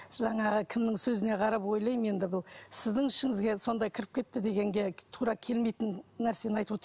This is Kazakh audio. жаңағы кімнің сөзіне қарап ойлаймын енді бұл сіздің ішіңізге сондай кіріп кетті дегенге тура келмейтін нәрсені айтып